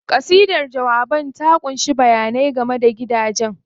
Kasidar jawaban ta ƙunshi bayanai game da gidajen.